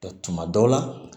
tuma dɔw la